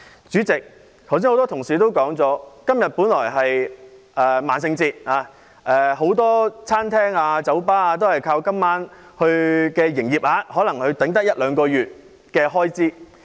主席，剛才很多同事提到今天是萬聖節，很多餐廳、酒吧都靠今晚的營業額來支撐一兩個月的開支。